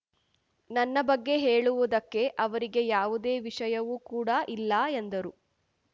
ನನ್ನ ಬಗ್ಗೆ ಹೇಳುವುದಕ್ಕೆ ಅವರಿಗೆ ಯಾವುದೇ ವಿಷಯವೂ ಕೂ‌ಡ ಇಲ್ಲ ಎಂದರು